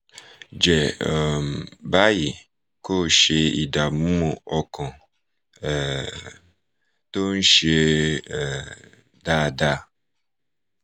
jẹ̀ um báyìí kó o ṣe ìdààmú ọkàn um tó ń ṣe um dáadáa